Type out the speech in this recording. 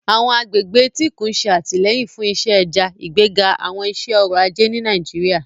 Àwọn agbègbè etíkun ń ṣe àtìlẹ́yìn fún iṣẹ́ ẹja, ìgbéga àwọn iṣẹ́ ọrọ̀ ajé ní Nàìjíríà.